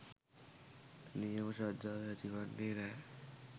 නියම ශ්‍රද්ධාව ඇතිවෙන්නේ නෑ.